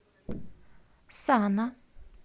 сана